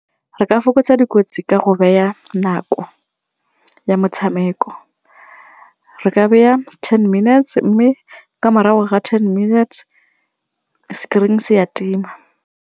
Re ka fokotsa dikotsi ka go beya nako ya motshameko, re ka beya ten minutes mme ka morago ga ten minutes, screen-e se ya tima.